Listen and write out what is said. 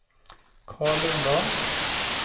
Carl Lundahl